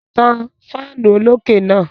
Tan fáánù olókè náà.